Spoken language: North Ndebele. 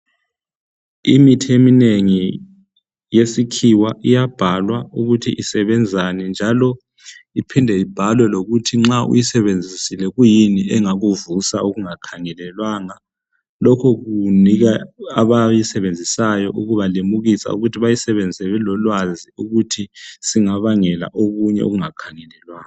Imithi eminengi yesikhiwa iyabhalwa ukuthi isebenzani njalo iphinde ibhalwe lokuthi nxa uyisebenzisile kuyini engakuvusa okungakhangelelwanga. Lokhu kunika abayisebenziyo ukubalimukisa ukuthi bayisebenzise belolwazi ukuthi singabangela okunye okungakhangelelwanga.